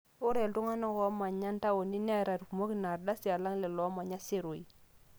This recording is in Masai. ore iltung'anak loomanya intaoni neeta irkumok inaardasi alang lelo oomanya iseroi